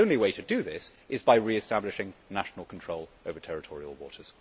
The only way to do this is by re establishing national control over territorial waters.